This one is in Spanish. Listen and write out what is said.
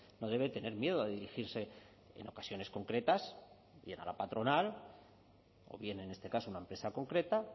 no debe tener miedo a dirigirse en ocasiones concretas y era la patronal o bien en este caso una empresa concreta